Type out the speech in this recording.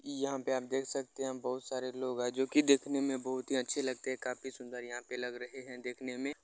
यहाँ पे आप देख सकते हैं बहुत सारे लोग हैं जो की देखने में बहुत ही अच्छे लगते हैं काफी सुंदर यहाँ पे लग रहे हैं देखने में --